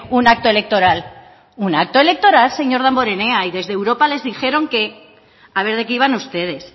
un acto electoral un acto electoral señor damborenea y desde europa les dijeron que a ver de qué iban ustedes